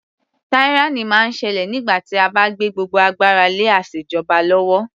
Tyranny máa ń ṣẹlẹ̀ nígbà tí a bá gbé gbogbo agbára lé asèjọba lọ́wọ́.